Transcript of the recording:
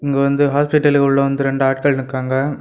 இங்க வந்து ஹாஸ்பிடலுகுள்ள வந்து ரெண்டு ஆட்கள் நிக்காங்க.